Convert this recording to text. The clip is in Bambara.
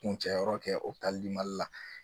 Kuncɛ yɔrɔ kɛ opitali mali la